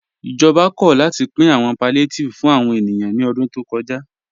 Ìjọba kò látì pìn àwọn palliatives fún àwọn ènìyàn ní ọ̀dún tó kọ́já.